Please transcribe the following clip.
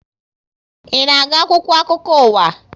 Ị na agụ akwụkwọ akụkọ ụwa?